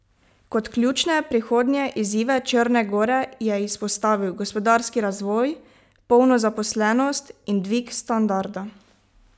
Kot ključne prihodnje izzive Črne gore je izpostavil gospodarski razvoj, polno zaposlenost in dvig standarda.